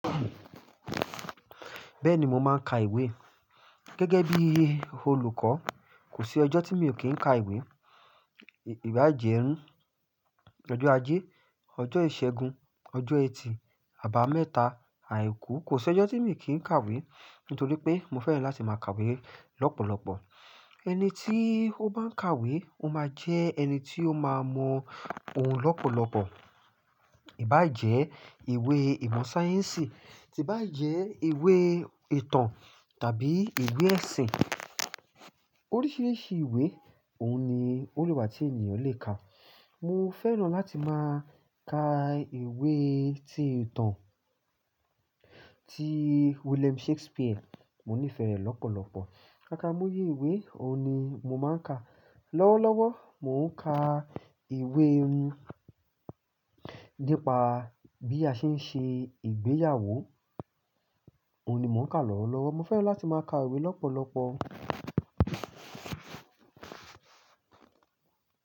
Bẹ́ẹ̀ni mo máa ń ka ìwé gẹ́gẹ́ bí olùkọ́ kò sí ọjọ́ tí mi ò kí ń ka ìwé. Kí bá jẹ́ ọjọ́ ajé, ọjọ́ ìṣẹ́gun, ọjọ́ ẹtì, àbá mẹ́ta, àìkú kò sí ọjọ́ tí mi ò kí ń kàwé nítorípé mo fẹ́ràn láti máa kàwé lọ́pọ̀lọpọ̀. Ẹni tí ó bá ń kàwé ó máa jẹ ẹni tí ó máa mọ ohun lọ́pọ̀lọpọ̀. Ìbá jẹ́ ìwé ìmọ̀ sáyẹ́ǹsì tí bá jẹ́ ìwé ìtàn tàbí ìwé ẹ̀sìn oríṣìríṣí ìwé òun ni ole wà tí ènìyàn lè kà. Mo fẹ́ràn láti máa ka ìwé tí ìtàn tí William Shakespeare. Mo nífẹ̀ẹ́ rẹ̀ lọ́pọ̀lọpọ̀. Akámoyé ìwé òun ni mo máa ń ka. Lọ́wọ́lọ́wọ́ mo ń ka ìwé iru nípa bí a ṣe ń ṣe ìgbéyàwó òun ni mò ń ka lọ́wọ́lọ́wọ́. Mo fẹ́ràn láti máa ka ìwé lọ́pọ̀lọpọ̀.